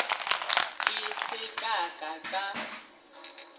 ke se ka ka ka